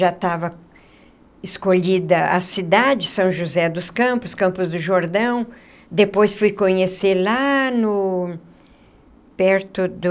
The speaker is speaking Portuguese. Já estava escolhida a cidade, São José dos Campos, Campos do Jordão, depois fui conhecer lá no... perto do...